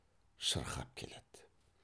шырқап келеді